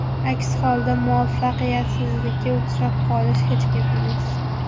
Aks holda muvaffaqiyatsizlikka uchrab qolish hech gap emas.